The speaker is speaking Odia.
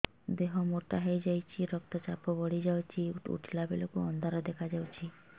ଦେହ ମୋଟା ହେଇଯାଉଛି ରକ୍ତ ଚାପ ବଢ଼ି ଯାଉଛି ଉଠିଲା ବେଳକୁ ଅନ୍ଧାର ଦେଖା ଯାଉଛି